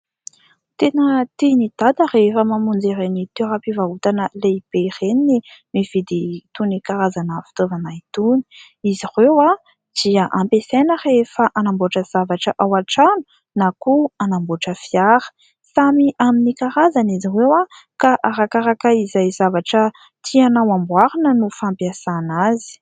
Tena tian'i Dada rehefa mamonjy ireny toeram-pivarotana lehibe ireny ny mividy itony karazana fitaovana itony. Izy ireo dia ampiasaina rehefa hanamboatra zavatra ao an-trano na koa hanamboatra fiara. Samy amin'ny karazany izy ireo, ka arakaraka izay zavatra tianao hamboarina no fampiasana azy.